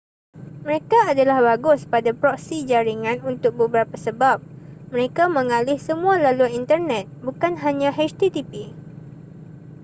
mereka adalah bagus pada proksi jaringan untuk beberapa sebab mereka mengalih semua laluan internet bukan hanya http